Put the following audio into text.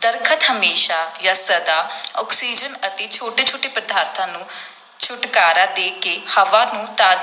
ਦਰੱਖਤ ਹਮੇਸ਼ਾਂ ਜਾਂ ਸਦਾ ਆਕਸੀਜਨ ਅਤੇ ਛੋਟੇ ਛੋਟੇ ਪਦਾਰਥਾਂ ਨੂੰ ਛੁਟਕਾਰਾ ਦੇ ਕੇ ਹਵਾ ਨੂੰ ਤਾ